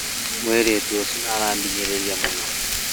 Mũirĩtu ũcio nĩarahinyĩrĩria mũno